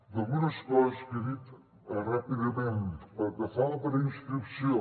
d’algunes coses que ha dit ràpidament pel que fa a la preinscripció